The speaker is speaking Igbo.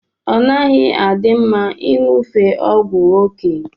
Ọnaghi adi mma inyụfe ọgwụ oke.